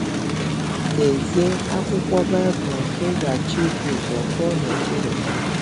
Dezie akwụkwọ Baịbụl nke ị ga - achọ ibu ụzọ gụọ n’okpuru ebe a.